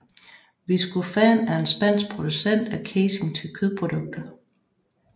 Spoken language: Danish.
Viscofan er en spansk producent af casing til kødprodukter